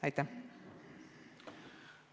Aitäh!